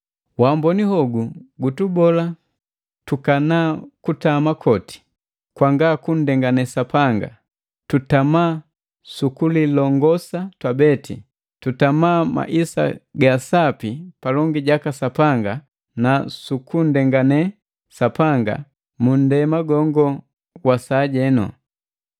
Wamboni hogu gutubola tukana maisa goti ganga kundengane Sapanga; tutama sukulilongosa twabeti, tutama maisa gaasapi palongi jaka Sapanga na sukunndengane Sapanga mu ndema gongo wa sajenu,